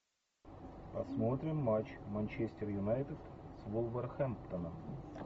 посмотрим матч манчестер юнайтед с вулверхэмптоном